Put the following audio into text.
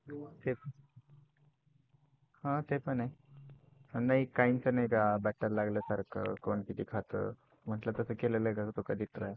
हा ते पण आहे. नाही काहींचं नाही का battel लागल्यासारखं कोण किती खातं म्हटलं तसं कधी केलाय तू try